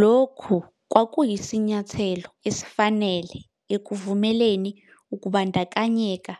Le mizamo ibisivele itshengisa imiphumela enentuthuko yokuphathwa kwezinsizakusebenza,